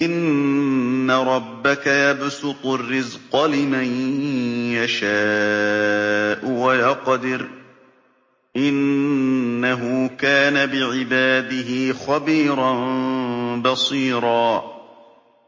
إِنَّ رَبَّكَ يَبْسُطُ الرِّزْقَ لِمَن يَشَاءُ وَيَقْدِرُ ۚ إِنَّهُ كَانَ بِعِبَادِهِ خَبِيرًا بَصِيرًا